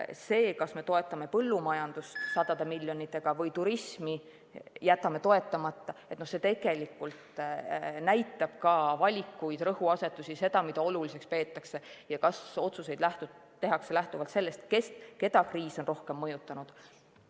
See, kas me toetame põllumajandust sadade miljonitega või jätame turismi toetamata, näitab tegelikult ka valikuid, rõhuasetusi, seda, mida oluliseks peetakse ja kas otsuseid tehakse lähtuvalt sellest, keda kriis on rohkem mõjutanud.